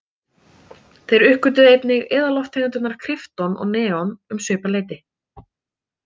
Þeir uppgötvuðu einnig eðallofttegundirnar krypton og neon um svipað leyti.